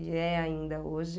E é ainda hoje.